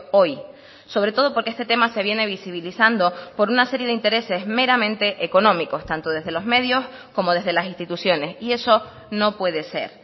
hoy sobre todo porque este tema se viene visibilizando por una serie de intereses meramente económicos tanto desde los medios como desde las instituciones y eso no puede ser